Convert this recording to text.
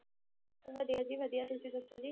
ਵਧੀਆ ਜੀ ਵਧੀਆ, ਤੁਸੀਂ ਦੱਸੋ ਜੀ,